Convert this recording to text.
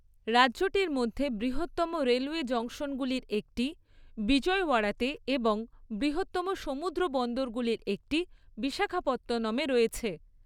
রাজ্যটির মধ্যে বৃহত্তম রেলওয়ে জংশনগুলির একটি বিজয়ওয়াড়াতে এবং বৃহত্তম সমুদ্রবন্দরগুলির একটি বিশাখাপত্তনমে রয়েছে।